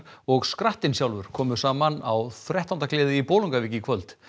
og skrattinn sjálfur komu saman á þrettándagleði í Bolungarvík í kvöld